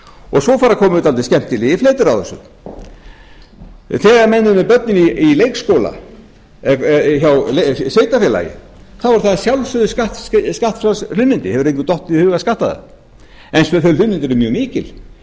og svo fara að koma upp skemmtilegir fletir á þessu þegar menn eru með börn í leikskóla hjá sveitarfélagi eru það að sjálfsögðu skattfrjáls hlunnindi engum hefur dottið í hug að skatta það en þau hlunnindi eru mjög mikil mér